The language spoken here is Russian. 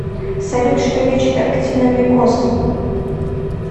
салют что лечит актиномикоз